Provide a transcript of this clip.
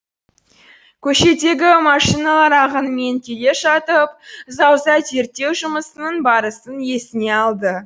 көшедегі машиналар ағынымен келе жатып зауза зерттеу жұмысының барысын есіне алды